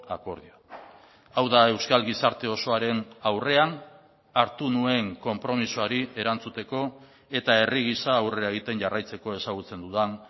akordio hau da euskal gizarte osoaren aurrean hartu nuen konpromisoari erantzuteko eta herri gisa aurrera egiten jarraitzeko ezagutzen dudan